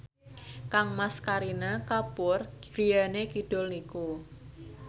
kangmas Kareena Kapoor griyane kidul niku